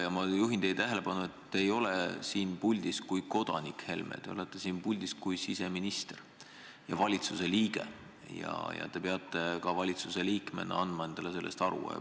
Ja ma juhin teie tähelepanu sellele, et te ei ole siin puldis kui kodanik Helme, te olete siin puldis kui siseminister ja valitsuse liige ja te peate endale sellest aru andma.